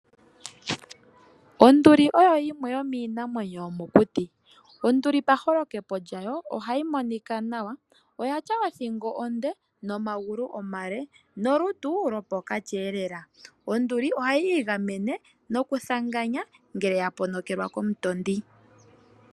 Onduli oyo yimwe yominamwenyo yomokuti, Onduli paholekepo lyawo ohayi monika nawa, oyatya othingo onde nomangulu omale nolutu lopokati lela, Onduli ohayi gamene nokuthanganya ngele yaponokelwa komutondi.